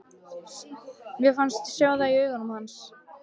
Mér fannst ég sjá það í augum hans.